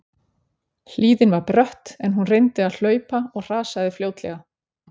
Hlíðin var brött en hún reyndi að hlaupa og hrasaði fljótlega.